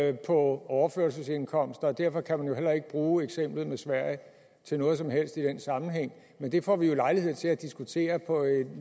er på overførselsindkomst og derfor kan man jo heller ikke bruge eksemplet med sverige til noget som helst i den sammenhæng men det får vi jo lejlighed til at diskutere på et